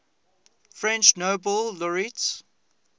french nobel laureates